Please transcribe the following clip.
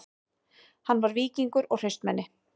Hann var víkingur og hraustmenni